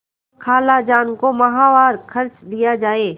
खालाजान को माहवार खर्च दिया जाय